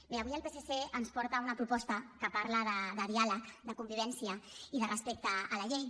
bé avui el psc ens porta una proposta que parla de diàleg de convivència i de respecte a la llei